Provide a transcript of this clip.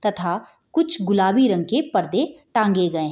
तथा कुछ गुलाबी रंग के पर्दे टाँगे गए --